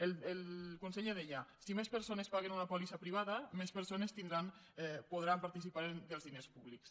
el conseller deia si més persones paguen una pòlissa privada més persones podran participar dels diners públics